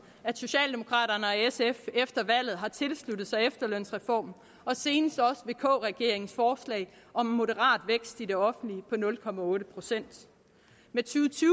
at socialdemokraterne og sf efter valget har tilsluttet sig efterlønsreformen og senest også vk regeringens forslag om en moderat vækst i det offentlige på nul procent med